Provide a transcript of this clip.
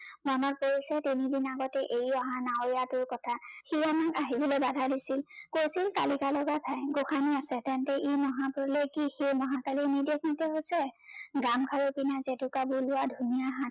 মনত পৰিছে তিনি দিন আগতে এই অহা নাৱৰিয়াটোৰ কথা সি আমাক আহিবলৈ বাধা দিছিল, কৈছিল কালিকা লগা ঠাই গোসানী আছে তেন্তে ই মহা প্ৰলয় কি সেই মহাকালিৰ নিৰ্দেশ মতে হৈছে ।গামখাৰু পিন্ধা জেতুকা বোলোৱা ধুনীয়া হাত